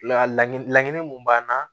La laɲinin laɲinin mun b'an na